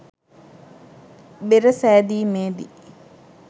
බෙර සෑදීමෙදී